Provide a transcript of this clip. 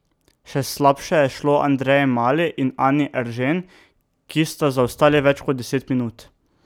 Še slabše je šlo Andreji Mali in Anji Eržen, ki sta zaostali več kot deset minut.